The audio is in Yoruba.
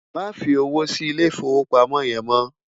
Má fi ówó si Ilé Ifówópámò yèn mò